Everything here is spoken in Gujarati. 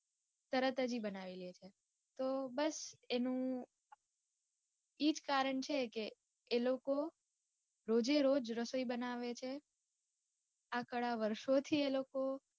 તરત જ ઇ બનાવી લે છે. તો બસ એનું ઇજ કારણ છે કે એ લોકો રોજે રોજ રસોઈ બનાવે છે. આ કળા વર્ષો થી એ લોકો